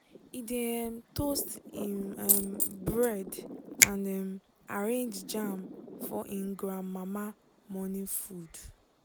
e dey um toast um bread and um arrange jam for him grandmama morning food.